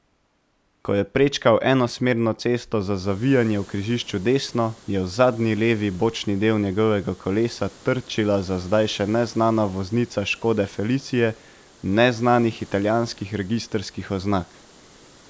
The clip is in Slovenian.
Ko je prečkal enosmerno cesto za zavijanje v križišču desno, je v zadnji levi bočni del njegovega kolesa trčila za zdaj še neznana voznica škode felicie, neznanih italijanskih registrskih oznak.